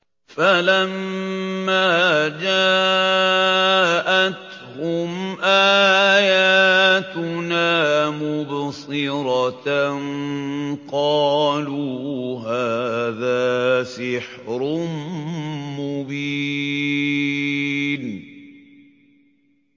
فَلَمَّا جَاءَتْهُمْ آيَاتُنَا مُبْصِرَةً قَالُوا هَٰذَا سِحْرٌ مُّبِينٌ